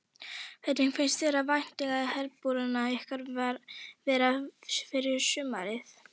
Hvernig finnst þér væntingarnar í herbúðum ykkar vera fyrir sumarið?